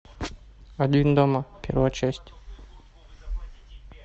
один дома первая часть